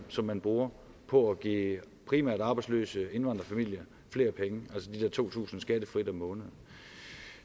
som man bruger på at give primært arbejdsløse indvandrerfamilier flere penge altså de der to tusind kroner skattefrit om måneden